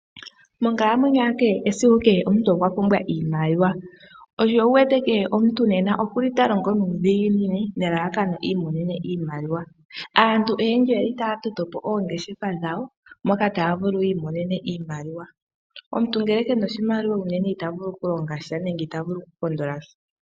Monkalamwenyo ya kehe esiku kehe omuntu okwa pumwa iimaliwa sho osho wu wete kehe omuntu nena okuli ta longo nuudhiginini nelalakano iininene iimaliwa